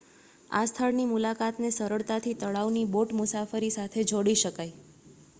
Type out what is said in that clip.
આ સ્થળની મુલાકાત ને સરળતાથી તળાવની બોટ મુસાફરી સાથે જોડી શકાય